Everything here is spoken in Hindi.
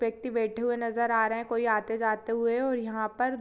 व्यक्ति बैठे हुए नजर आ रहे है कोई आते जाते हुए और यहाँ पर--